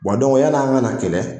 yani an ka na kɛlɛ